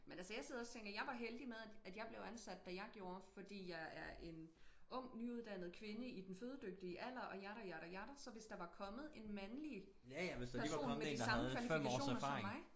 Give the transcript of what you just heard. Men altså jeg sidder også og tænker jeg var heldig med at at jeg blev ansat da jeg gjorde fordi jeg er en ung nyuddannet kvinde i den fødedygtige alder og yada yada yada så hvis der var kommet en mandlig person med de samme kvalifikationer som mig